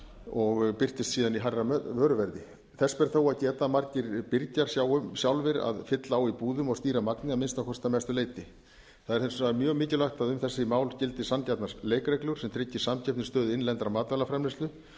og birtist síðan í hærra vöruverði þess ber þó að geta að margir birgjar sjá sjálfir um að fylla á í búðum og stýra magni að minnsta kosti að mestu leyti það er hins vegar mjög mikilvægt að um þessi mál gildi sanngjarnar leikreglur sem tryggi samkeppnisstöðu innlendrar matvælaframleiðslu